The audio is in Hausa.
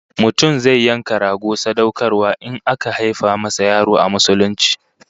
Mutum zai yanka rago sadaukarwa in aka haifa masa yaro a Musulunci